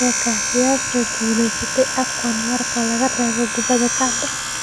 Cheka: Yaase guuleystay AFCON marka laga reebo kubadda cagta?